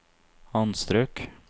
anstrøk